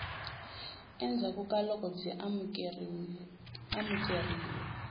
endzhaku ka loko byi amukerile